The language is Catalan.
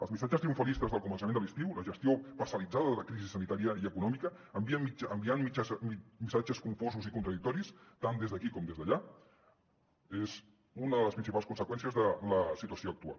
els missatges triomfalistes del començament de l’estiu la gestió parcel·litzada de la crisi sanitària i econòmica enviant missatges confusos i contradictoris tant des d’aquí com des d’allà és una de les principals conseqüències de la situació actual